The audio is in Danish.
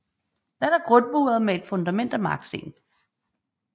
Den er grundmuret med et fundament af marksten